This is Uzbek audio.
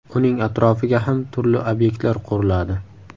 Uning atrofiga ham turli obyektlar quriladi.